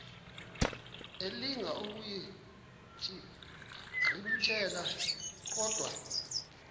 elinga ukuyirintyela kodwa